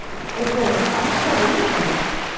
Eru þau með franska vinnukonu?